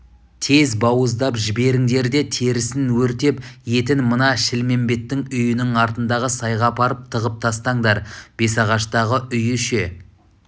тез бауыздап жіберіңдер де терісін өртеп етін мына шілмембеттің үйінің артындағы сайға апарып тығып тастаңдар бесағаштағы үйі ше